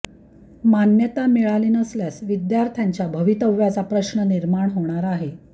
मान्यता मिळाली नसल्यास विद्यार्थ्यांच्या भवितव्याचा प्रश्न निर्माण होणार आहे